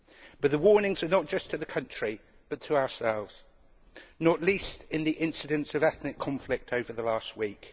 But the warnings are not just to the country, but to ourselves, not least in the incidence of ethnic conflict over the last week.